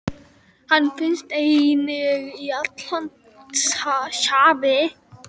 Hann finnst einnig í Atlantshafi.